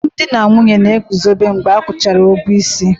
Alụmdi na nwunye na-eguzobe mgbe a kwụchara ụgwọ isi